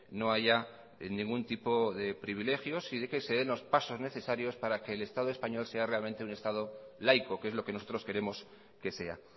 no haya ningún tipo de privilegios y de que se den los pasos necesarios para que el estado español sea realmente un estado laico que es lo que nosotros queremos que sea